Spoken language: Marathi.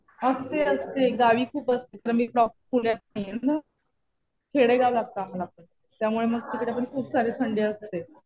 असते असते. गावी खूप असते. आम्ही प्रॉपर पुण्यात नाहीये ना. खेडेगाव त्यामुळे तिकडे पण खूप सारी थंडी असते.